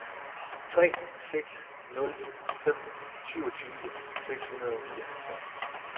tre seks nul fem syvogtyve seks hundrede og nioghalvtreds